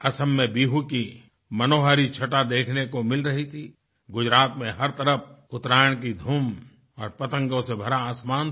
असम में बिहू की मनोहारी छटा देखने को मिल रही थी गुजरात में हर तरफ उत्तरायण की धूम और पतंगों से भरा आसमान था